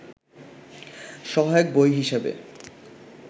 সহায়ক বই হিসেবে